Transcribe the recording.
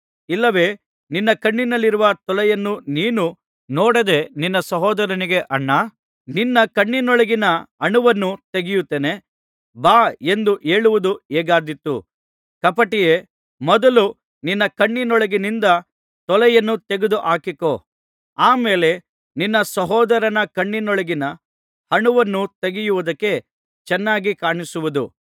ಇಲ್ಲವೆ ನಿನ್ನ ಕಣ್ಣಿನಲ್ಲಿರುವ ತೊಲೆಯನ್ನು ನೀನು ನೋಡದೆ ನಿನ್ನ ಸಹೋದರನಿಗೆ ಅಣ್ಣಾ ನಿನ್ನ ಕಣ್ಣಿನೊಳಗಿನ ಅಣುವನ್ನು ತೆಗೆಯುತ್ತೇನೆ ಬಾ ಎಂದು ಹೇಳುವುದಕ್ಕೆ ಹೇಗಾದೀತು ಕಪಟಿಯೇ ಮೊದಲು ನಿನ್ನ ಕಣ್ಣಿನೊಳಗಿನಿಂದ ತೊಲೆಯನ್ನು ತೆಗೆದುಹಾಕಿಕೋ ಆ ಮೇಲೆ ನಿನ್ನ ಸಹೋದರನ ಕಣ್ಣಿನೊಳಗಿನ ಅಣುವನ್ನು ತೆಗೆಯುವುದಕ್ಕೆ ಚೆನ್ನಾಗಿ ಕಾಣಿಸುವುದು